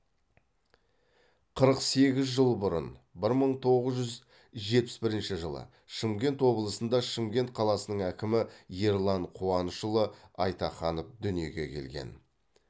қырық сегіз жыл бұрын бір мың тоғыз жүз жетпіс бірінші жылы шымкент облысында шымкент қаласының әкімі ерлан қуанышұлы айтаханов дүниеге келген